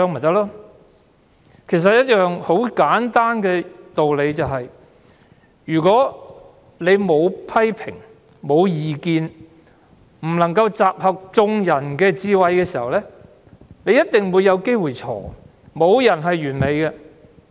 道理很簡單，沒有批評和異見，便無法集合眾人的智慧，於是便必會有可能出錯，因為沒有人是完美的。